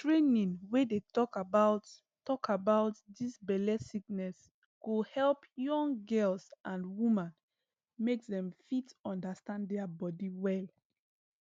training wey dey talk about talk about dis belle sickness go help young girls and woman make dem fit understand dia bodi well